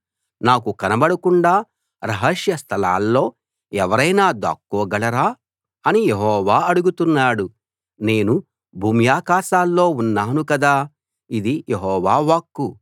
నాకు కనబడకుండా రహస్య స్థలాల్లో ఎవరైనా దాక్కోగలరా అని యెహోవా అడుగుతున్నాడు నేను భూమ్యాకాశాల్లో ఉన్నాను కదా ఇది యెహోవా వాక్కు